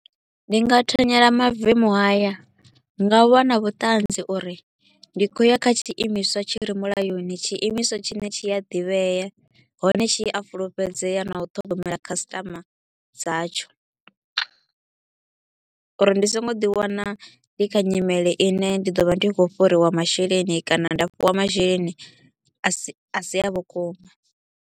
Ndi nga thanyela mavemu haya nga u vha na vhuṱanzi uri ndi kho u ya kha tshiimiswa tshi re mulayoni, tshiimiswa tshine tshi a ḓivhea, hone tshi a fulufhedzea na u ṱhogomela customer dzatsho. Uri ndi so ngo ḓi wana ndi kha nyimele i ne ndi ḓo vha ndi kho u fhuriwa masheleni kana nda fhiwa masheleni a si a vhukuma.